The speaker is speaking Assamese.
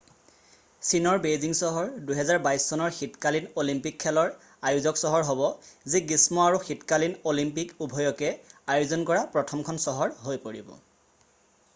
চীনৰ বেইজিং চহৰ 2022 চনৰ শীতকালীন অলিম্পিক খেলৰ আয়োজক চহৰ হ'ব যি গ্ৰীষ্ম আৰু শীতকালীন অলিম্পিক উভয়কে আয়োজন কৰা প্ৰথমখন চহৰ হৈ পৰিব